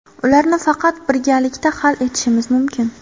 Ularni faqat birgalikda hal etishimiz mumkin.